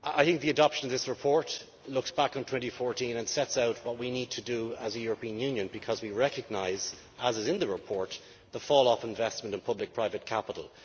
I think the adoption of this report looks back on 2014 and sets out what we need to do as a European Union because we recognise, as is in the report, the fall off of investment in public private capital.